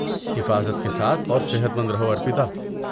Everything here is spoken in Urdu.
حفاظت کے ساتھ اور صحت مند رہو ارپیتا۔